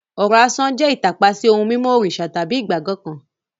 Ọ̀rọ̀ asán jẹ́ ìtàpá sí ohun mímọ́ òrìṣà tàbí ìgbàgbọ́ kan.